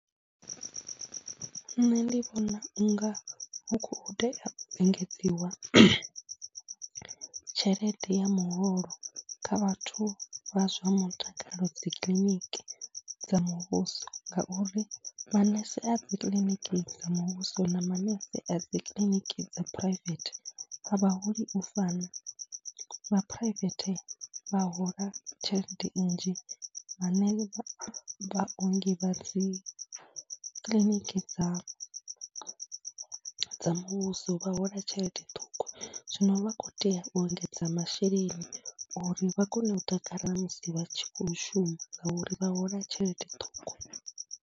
Nṋe ndi vhona u nga hu khou tea u engedziwa tshelede ya muholo kha vhathu vha zwa mutakalo dzi kiḽiniki muvhuso ngauri manese a dzi kiḽiniki dza muvhuso na manese a dzi kiḽiniki dza phuraivethe a vha holi u fana. Vha phuraivethe vha hola tshelede nnzhi, vhane vhaongi vha dzi kiḽiniki dza dza muvhuso vha hola tshelede ṱhukhu. Zwino vha khou tea u engedza masheleni uri vha kone u takala musi vha tshi khou shuma ngauri vha hola tshelede ṱhukhu.